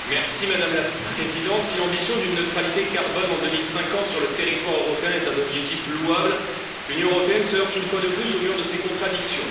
Madame la Présidente, si l'ambition d'une neutralité carbone en 2050 sur le territoire européen est un objectif louable, l'Union européenne se heurte une fois de plus au mur de ses contradictions.